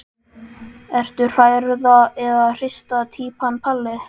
Ertu hrærða eða hrista týpan Palli?